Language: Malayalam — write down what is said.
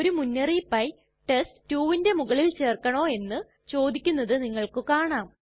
ഒരു മുന്നറിയിപ്പായി ചോദിക്കും test2ന് മുകളിൽ ചേർക്കണോ എന്ന് ചോദിക്കുന്നത് നിങ്ങൾക്ക് കാണാം